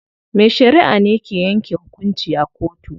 Mai shariʼa ne ke yanke hukunci a kotu.